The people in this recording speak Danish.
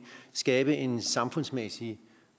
skabe en samfundsmæssig